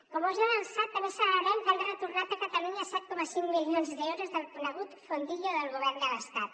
com us he avançat també celebrem que han retornat a catalunya set coma cinc milions d’euros del conegut fondillo del govern de l’estat